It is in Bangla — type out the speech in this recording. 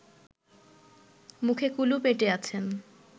মুখে কুলুপ এঁটে আছেন